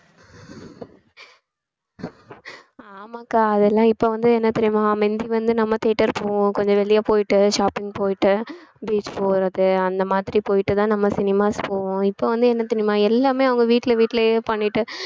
ஆமாக்கா அதெல்லாம் இப்ப வந்து என்ன தெரியுமா முந்தி வந்து நம்ம theater போவோம் கொஞ்சம் வெளிய போயிட்டு shopping போயிட்டு beach போறது அந்த மாதிரி போயிட்டுதான் நம்ம cinemas போவோம் இப்ப வந்து என்ன தெரியுமா எல்லாமே அவங்க வீட்ல~ வீட்லயே பண்ணிட்டு